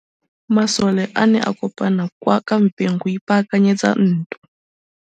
Masole a ne a kopane kwa kampeng go ipaakanyetsa ntwa.